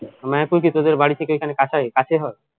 মায়াপুর কি তোদের বাড়ি থেকে এখানে কাছেই কাছে হয়